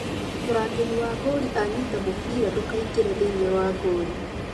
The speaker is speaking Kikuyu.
Mũrangĩri wa gori ănyita mũbira ndũkaingĩre thĩini wa gori